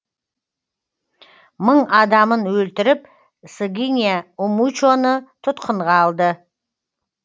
мың адамын өлтіріп сыгиня умучоны тұтқынға алды